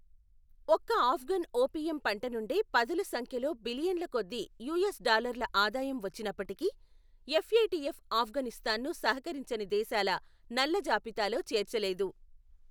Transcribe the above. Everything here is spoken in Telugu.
ఒక్క ఆఫ్ఘన్ ఓపియం పంట నుండే పదుల సంఖ్యలో బిలియన్ల కొద్దీ యూఎస్ డాల్లర్ల ఆదాయం వచ్చినప్పటికీ, ఎఫ్ఏటిఎఫ్ ఆఫ్ఘనిస్తాన్ను సహకరించని దేశాల నల్లజాబితాలో చేర్చలేదు.